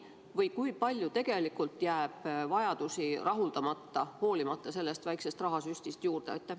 Või kui palju tegelikult jääb vajadusi rahuldamata, hoolimata sellest väikesest rahasüstist?